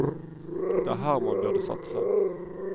Det er her man burde satse.